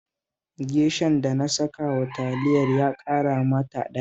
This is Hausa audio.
Geshan da na sakawa Taliyar ya ƙara mata daɗi